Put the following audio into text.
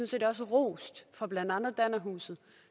set også rost af blandt andet dannerhuset